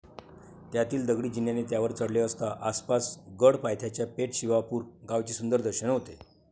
त्यातील दगडी जिन्याने त्यावर चढले असता, आपणास गड पायथ्याच्या पेठ शिवापूर गावचे सुंदर दर्शन होते.